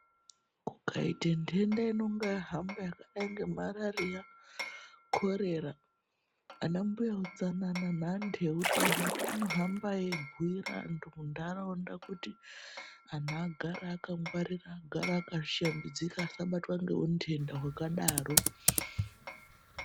Kukaite nthenda inonge yahamba yakadai ngemarariya, korera. Anambuya utsanana neanthu eutano anomba eibhuyira anthu muntharaunda kuti anthu agare akangwarira, agare akashambidzika asabatwa ngeunthenda hwakadaro.